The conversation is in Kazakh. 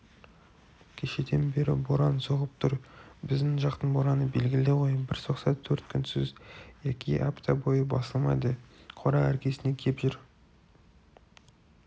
кешеден бері боран соғып тұр біздің жақтың бораны белгілі ғой бір соқса төрт күнсіз яки апта бойы басылмайды қора іргесіне кеп жер